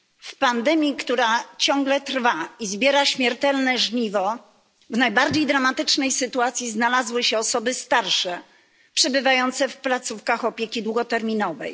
W pandemii, która ciągle trwa i zbiera śmiertelne żniwo, w najbardziej dramatycznej sytuacji znalazły się osoby starsze, przebywające w placówkach opieki długoterminowej.